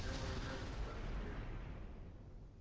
я выражаюсь достаточно ясно